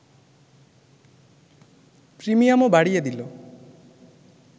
প্রিমিয়ামও বাড়িয়ে দিলো্